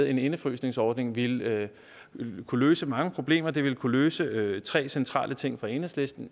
en indefrysningsordning ville kunne løse mange problemer det ville kunne løse tre centrale ting for enhedslisten